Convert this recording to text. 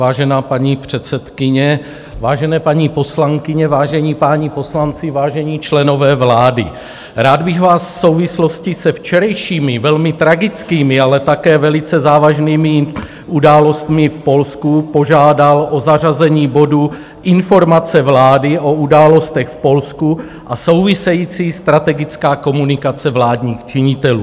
Vážená paní předsedkyně, vážené paní poslankyně, vážení páni poslanci, vážení členové vlády, rád bych vás v souvislosti se včerejšími velmi tragickými, ale také velice závažnými událostmi v Polsku požádal o zařazení bodu Informace vlády o událostech v Polsku a související strategická komunikace vládních činitelů.